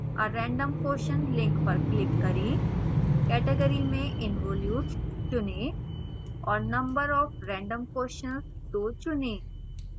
a random question link पर click करें category में involutes चुनें और number of random questions 2 चुनें